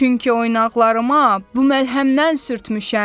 Çünki oynaqlarıma bu məlhəmdən sürtmüşəm.